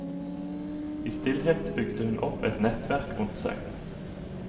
I stillhet bygde hun opp et nettverk rundt seg.